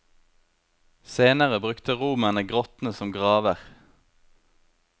Senere brukte romerne grottene som graver.